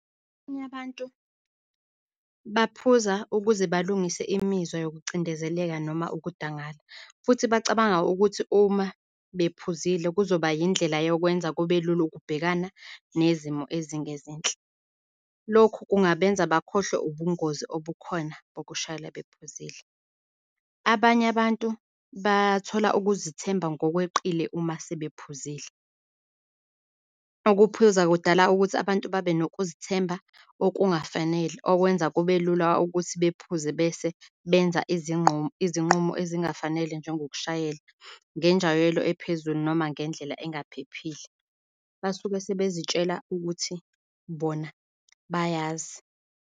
Abanye abantu baphuza ukuze balungise imizwa yoku cindezeleka noma ukudangala futhi bacabanga ukuthi uma bephuzile kuzoba yindlela yokwenza kubelula ukubhekana nezimo ezingezinhle. Lokhu kungabenza bakhohlwe ubungozi obukhona bokushayela bephuzile. Abanye abantu bathola ukuzithemba ngokweqile uma sebephuzile. Ukuphuza kudala ukuthi abantu babe nokuzithemba okungafanele okwenza kubelula ukuthi bephuze bese benza izinqumo ezingafanele njengokushayela ngenjwayelo ephezulu noma ngendlela engaphephile. Basuke sebezitshele ukuthi bona bayazi.